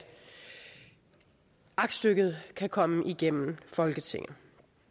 aktstykket kan komme igennem folketinget